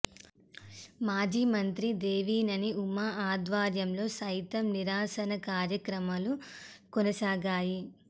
మాజీ మంత్రి దేవినేని ఉమా ఆధ్వర్యంలో సైతం నిరసన కార్యక్రమాలు కొనసాగాయి